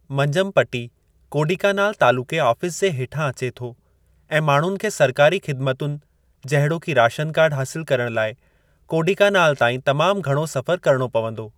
मंजमपटी कोडीकानाल तालुक़े आफ़ीस जे हेठां अचे थो ऐं माण्हुनि खे सरकारी ख़िदमतुनि जहिड़ोकि राशन कार्डु हासिलु करणु लाइ कोडीकानाल ताईं तमामु घणो सफ़रु किरिणो पंवदो।